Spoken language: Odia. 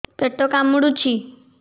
ପେଟ କାମୁଡୁଛି